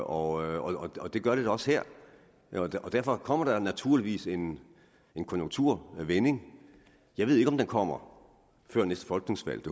og og det gør det da også her derfor kommer der naturligvis en en konjunkturvending jeg ved ikke om den kommer før næste folketingsvalg